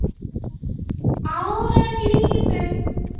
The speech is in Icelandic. Árin liðu